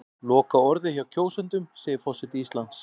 Lokaorðið hjá kjósendum segir forseti Íslands